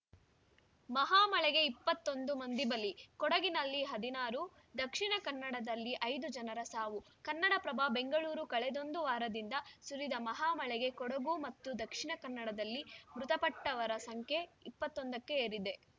ಮಹಾಮಳೆಗೆ ಇಪ್ಪತ್ತೊಂದು ಮಂದಿ ಬಲಿ ಕೊಡಗಿನಲ್ಲಿ ಹದಿನಾರು ದಕ್ಷಿಣ ಕನ್ನಡದಲ್ಲಿ ಐದು ಜನರ ಸಾವು ಕನ್ನಡಪ್ರಭ ಬೆಂಗಳೂರು ಕಳೆದೊಂದು ವಾರದಿಂದ ಸುರಿದ ಮಹಾಮಳೆಗೆ ಕೊಡಗು ಮತ್ತು ದಕ್ಷಿಣ ಕನ್ನಡದಲ್ಲಿ ಮೃತಪಟ್ಟವರ ಸಂಖ್ಯೆ ಇಪ್ಪತ್ತೊಂದಕ್ಕೇರಿದೆ